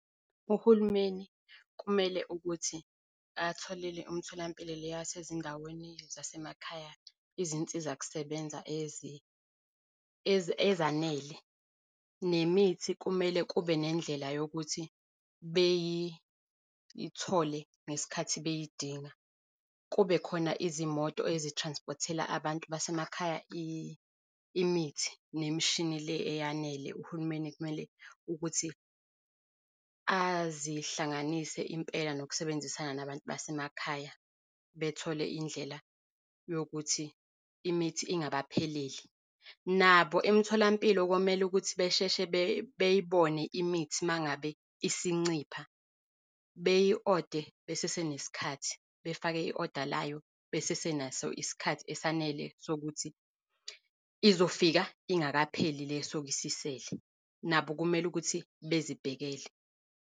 Uhulumeni kumele ukuthi atholele umtholampilo le yasezindaweni zasemakhaya izinsiza kusebenza ezanele. Nemithi kumele kube nendlela yokuthi beyithole ngesikhathi beyidinga. Kube khona izimoto ezi-transport-ela abantu basemakhaya imithi nemishini le eyanele. Uhulumeni kumele ukuthi azihlanganise impela nokusebenzisana nabantu basemakhaya, bethole indlela yokuthi imithi ingabapheleli. Nabo emtholampilo komele ukuthi besheshe beyibone imithi mangabe isincipha. Beyi-ode besesenesikhathi, befake i-oda layo besesenaso isikhathi esanele sokuthi izofika ingakapheli le esuke isisele. Nabo kumele ukuthi bezibhekele.